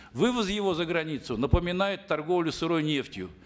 вывоз его за границу напоминает торговлю сырой нефтью